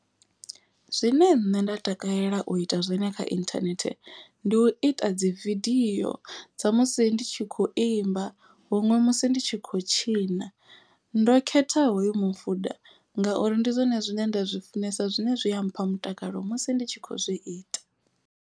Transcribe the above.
Zwine nṋe nda takalela u ita zwone kha internet ndi u ita dzi vidio dza musi ndi tshi kho imba. Huṅwe musi ndi tshi khou tshina ndo khetha hoyu mufuda. Ngauri ndi zwone zwine nda zwi funesa zwine zwi a mpha mutakalo musi ndi tshi kho zwi ita.